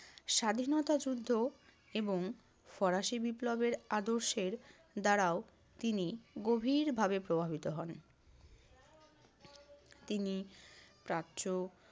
স্বাধীনতা যুদ্ধ এবং ফরাসি বিপ্লবের আদর্শের দ্বারাও তিনি গভীরভাবে প্রভাবিত হন। তিনি প্রাচ্য